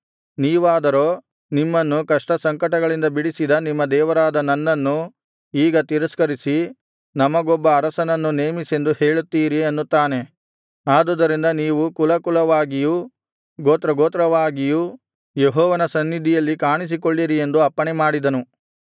ನೀವಾದರೋ ನಿಮ್ಮನ್ನು ಕಷ್ಟಸಂಕಟಗಳಿಂದ ಬಿಡಿಸಿದ ನಿಮ್ಮ ದೇವರಾದ ನನ್ನನ್ನು ಈಗ ತಿರಸ್ಕರಿಸಿ ನಮಗೊಬ್ಬ ಅರಸನನ್ನು ನೇಮಿಸೆಂದು ಹೇಳುತ್ತೀರಿ ಅನ್ನುತ್ತಾನೆ ಆದುದರಿಂದ ನೀವು ಕುಲ ಕುಲವಾಗಿಯೂ ಗೋತ್ರಗೋತ್ರವಾಗಿಯೂ ಯೆಹೋವನ ಸನ್ನಿಧಿಯಲ್ಲಿ ಕಾಣಿಸಿಕೊಳ್ಳಿರಿ ಎಂದು ಅಪ್ಪಣೆ ಮಾಡಿದನು